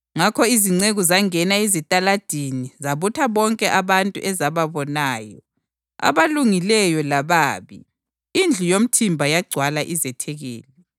Ngakho izinceku zangena ezitaladini zabutha bonke abantu ezababonayo, abalungileyo lababi, indlu yomthimba yagcwala izethekeli.